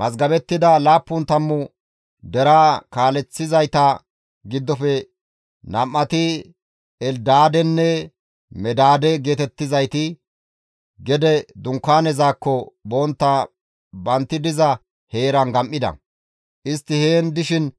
Mazgabettida laappun tammu deraa kaaleththizayta giddofe nam7ati Eldaadenne Medaade geetettizayti gede Dunkaanezakko bontta bantti diza heeran gam7ida; istti heen dishin